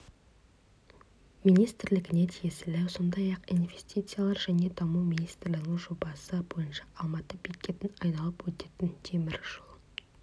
министрлігіне тиесілі сондай-ақ инвестициялар және даму министрлігінің жобасы бойынша алматы бекетін айналып өтетін темір жол